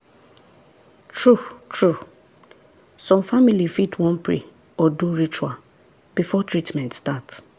true-true some family fit wan pray or do ritual before treatment start.